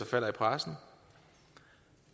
falder i pressen